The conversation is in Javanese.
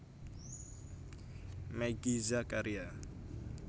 Meggy Zakaria